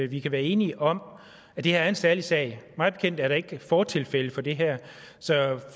vi kan være enige om at det her er en særlig sag mig bekendt er der ikke fortilfælde for det her så